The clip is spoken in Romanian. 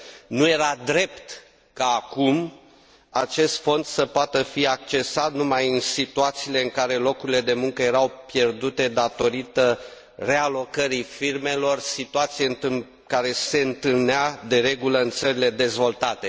Nu era drept ca, acum, acest fond să poată fi accesat numai în situațiile în care locurile de muncă erau pierdute datorită realocării firmelor, situație care se întâlnea, de regulă, în țările dezvoltate.